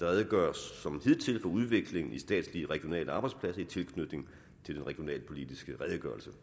der redegøres som hidtil for udviklingen i statslige regionale arbejdspladser i tilknytning til den regionalpolitiske redegørelse